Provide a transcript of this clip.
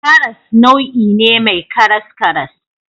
Karas nau'i ne mai karaskaras.